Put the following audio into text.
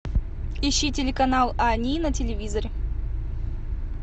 ищи телеканал ани на телевизоре